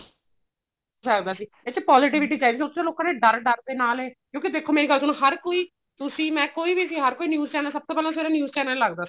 ਸਕਦਾ ਸੀ ਇਸ ਚ positivity ਚਾਹੀਦੀ ਏ ਉਸ ਚ ਲੋਕਾ ਨੇ ਡਰ ਡਰ ਦੇ ਨਾਲ ਏ ਕਿਉਂਕਿ ਦੇਖੋ ਮੇਰੀ ਗੱਲ ਸੁਣੋ ਹਰ ਕੋਈ ਤੁਸੀਂ ਮੈਂ ਕੋਈ ਵੀ ਸੀ ਹਰ ਕੋਈ news channel ਸਭ ਤੋਂ ਪਹਿਲਾਂ ਸਵੇਰੇ news channel ਲੱਗਦਾ ਸੀ